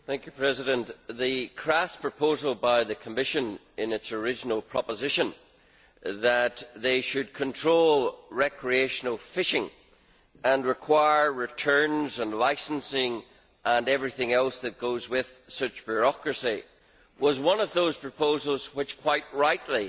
Mr President, the crass proposal by the Commission, in its original proposition, that they should control recreational fishing and require returns and licensing and everything else that goes with such bureaucracy, was one of the those proposals which, quite rightly,